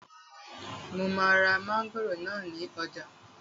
Mo máa ra mángòrò náà ní ọjà